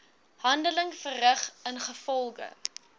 handeling verrig ingevolge